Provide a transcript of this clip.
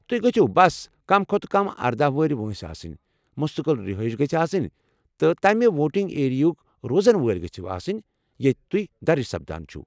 تۄہہِ گٔژھِو بس کم کھۄتہٕ کم اردہَ وریہہ وٲنٛسہِ آسٕنی، مستقل رہٲیش گژھِ آسنۍ، تہٕ تمہِ ووٹنگ ایریا ہٕکہِ روزن وٲلۍ گژھو آسنۍ ییٚتہِ توہہِ درج سپدان چھِو۔